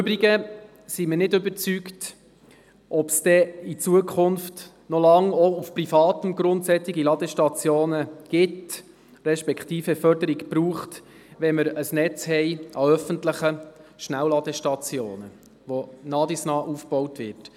Im Übrigen sind wir nicht überzeugt, ob es in Zukunft noch lange auf privatem Grund solche Ladestationen geben respektive Förderungen brauchen wird, wenn wir ein Netz an öffentlichen Schnellladestationen haben, das nach und nach aufgebaut wird.